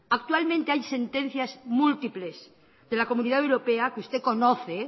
actualmente hay sentencias múltiples de la comunidad europea que usted conoce